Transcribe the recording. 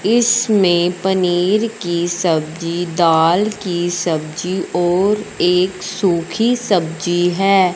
इसमें पनीर की सब्जी दाल की सब्जी और एक सूखी सब्जी है।